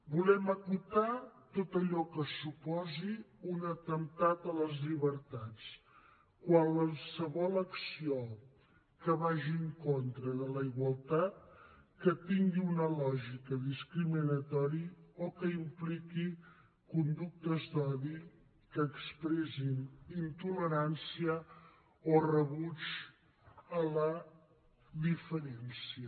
volem acotar tot allò que suposi un atemptat contra les llibertats qualsevol acció que vagi en contra de la igualtat que tingui una lògica discriminatòria o que impliqui conductes d’odi que expressin intolerància o rebuig de la diferència